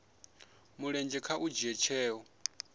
mulenzhe kha u dzhia tsheo